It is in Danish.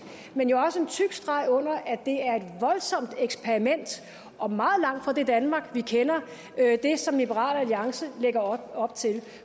men jo også en tyk streg under at det er et voldsomt eksperiment og meget langt fra det danmark vi kender hvad liberal alliance lægger op til